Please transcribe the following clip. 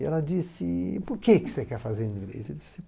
E ela disse, por que você quer fazer inglês?